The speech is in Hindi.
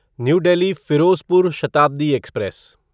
new Delhi Firozpur Shatabdi express